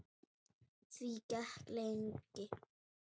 Því gekk lengi.